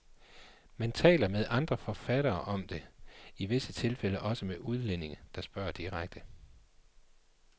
Man taler med andre forfattere om det, i visse tilfælde også med udlændinge, der spørger direkte.